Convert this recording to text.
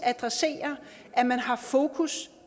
at man har fokus